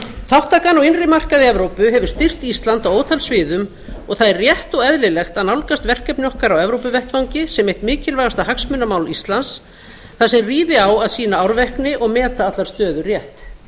þátttakan á innri markað evrópu hefur styrkt ísland á ótal sviðum og það er rétt og eðlilegt að nálgast verkefni okkar á evópuvettvangi sem eitt mikilvægasta hagsmunamál íslands þar sem ríði á að sýna árvekni og meta allar stöður rétt